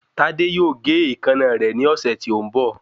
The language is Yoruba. Tádé yóò gé èékánná rẹ̀ ní ọ̀sẹ̀ tí ó ń bọ̀